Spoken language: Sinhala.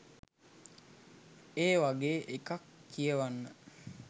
ඒ වගේ එකක් කියවන්න